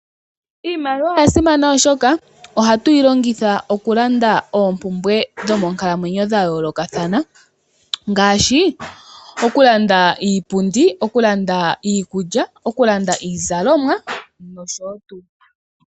Iimaliwa oyasimana oshoka ohatu yi longitha okulanda oompumbwe dhomonkalamwenyo dhayoolokathana ngaashi okulanda iipundi, okulanda iikulya, okulanda iizalomwa noshotuu.